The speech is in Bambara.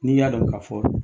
N'i y'a dɔn ka fɔ